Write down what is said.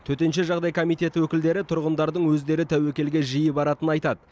төтенше жағдай комитеті өкілдері тұрғындардың өздері тәуекелге жиі баратынын айтады